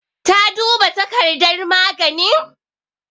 Ta duba takardar maganin?